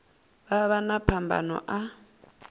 vha vha na phambano a